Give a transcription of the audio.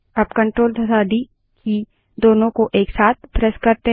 अब कंट्रोल तथा डी की दोनों को एक साथ प्रेस करें